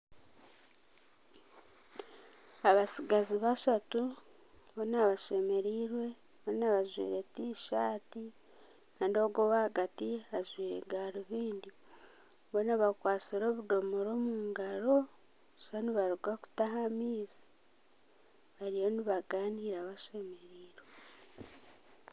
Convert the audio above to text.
Abatsigazi bashatu boona bashemereirwe boona bajwaire tishati Kandi ogu owahagati ajwaire garubindi boona bakwatsire obudomora omungaro nooshusha nibaruga kutaha amaizi bariyo nibagaanira bashemereirwe